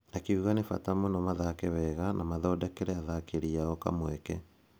Akiuga nĩ bata mũno mathake wega na mathondekere atharĩkĩri ao kamweke.